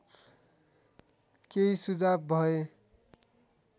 केही सुझाव भए